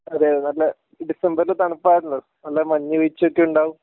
അതെ നല്ല ഡിസംബറിൽ തണുപ്പ് ആണല്ലോ നല്ല മഞ്ഞ് വീഴ്ച്ച ഒക്കെ ഉണ്ടാവും